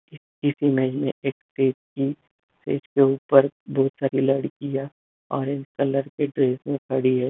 इस इमेज में एक स्टेज की स्टेज के ऊपर बहुत सारी लड़कियां ऑरेंज कलर की ड्रेस में खड़ी है।